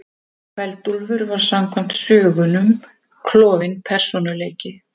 Kveld-Úlfur var samkvæmt sögunum klofinn persónuleiki.